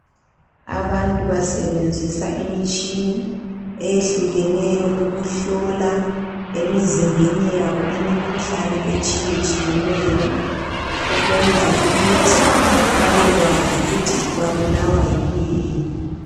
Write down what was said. Abantu basebenzisa imitshini eyehlukeneyo ukuhlola emizimbeni yabo imikhuhlane etshiyetshiyeneyo ukwenzela ukuthi babekwazi ukuthi babulawa yikuyini.